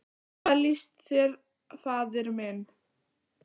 Hvað líst þér, faðir minn?